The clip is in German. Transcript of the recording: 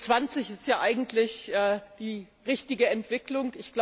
G20 ist ja eigentlich die richtige Entwicklung.